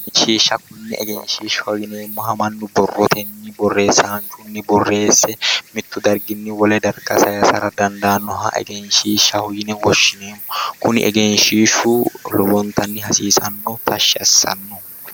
Egenshiishsha konne egenshiishshaho yineemmoha mannu borrotenni borreessanchunni borreesse mittu darginni wole darga saysara dandaannoha egenshiishshaho yine woshshineemmo kuni egenshiishshu lowontanni hasiisanno tashshi assanno